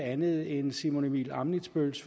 andet end simon emil ammitzbølls